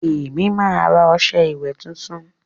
èmi má rà ọṣẹ ìwé títún